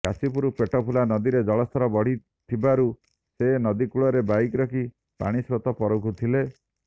କାଶୀପୁର ପେଟଫୁଲା ନଦୀରେ ଜଳସ୍ତର ବଢ଼ିଥିବାରୁ ସେ ନଦୀ କୂଳରେ ବାଇକ ରଖି ପାଣି ସ୍ରୋତ ପରଖୁଥିଲେ